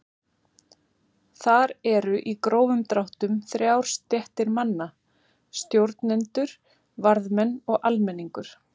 Þar eru í grófum dráttum þrjár stéttir manna: Stjórnendur, varðmenn og almenningur.